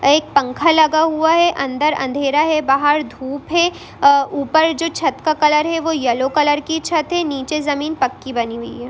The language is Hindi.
एक पंखा लगा हुआ है| अंदर अंधेरा है बाहर धूप है| ऊपर जो छत का कलर है वो येलो कलर की छत है| नीचे ज़मीन पक्की बनी हुई है।